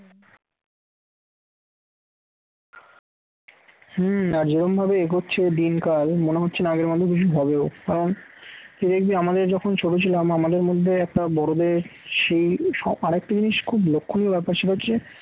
হম যেরকম ভাবে এগোচ্ছে দিনকাল মনে হচ্ছে না আগের মানুষ বেশি হবেও কারণ সেদিক দিয়ে আমাদের যখন ছোট ছিলাম আমাদের মধ্যে একটা বড়দের সেই সব আরেকটা জিনিস খুব লক্ষণীয় ব্যাপার সেটা হচ্ছে